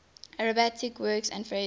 arabic words and phrases